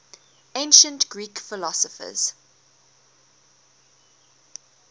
ancient greek philosophers